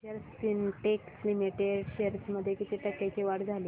अक्षर Spintex limited shares मध्ये किती टक्क्यांची वाढ झाली